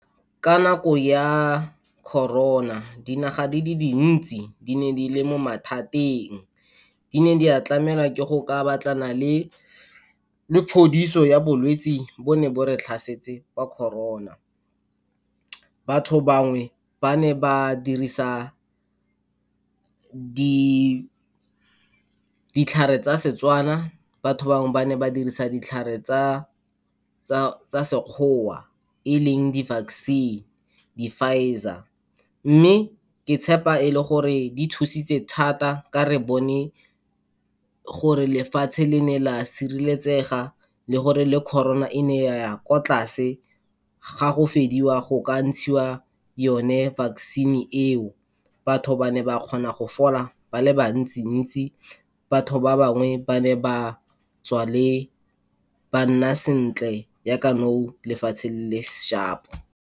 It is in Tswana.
Ka nako ya Corona, dinaga di le dintsi di ne di le mo mathateng. Di ne di a tlamelwa ke go ka batlana le phodiso ya bolwetsi bo ne bo re tlhasetse ba Corona. Batho bangwe ba ne ba dirisa di, ditlhare tsa Setswana, batho bangwe ba ne ba dirisa ditlhare tsa Sekgowa, e leng di-vaccine, di-Pfizer, mme ke tshepa e le gore di thusitse thata ka re bone gore lefatshe le ne la sireletsega le gore le Corona, e ne ya ya kwa tlase ga go fediwa go ka ntshiwa yone vaccine-e eo. Batho ba ne ba kgona go fola ba le bantsi-ntsi, batho ba bangwe ba ne ba tswa le, ba nna sentle ya ka nou lefatshe le le shapo.